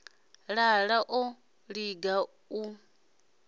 lala u ḓo liga u